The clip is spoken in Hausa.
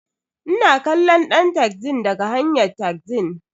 Ina kallon ɗan taxin daga hanyn taxin.